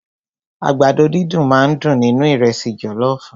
Àgbàdo dídùn máà ń dùn nínú ìrẹ́sì jọlọọfu.